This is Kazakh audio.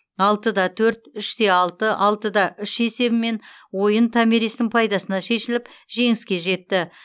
алтыда төрт үште алты алтыда үш есебімен ойын томиристің пайдасына шешіліп жеңіске жетті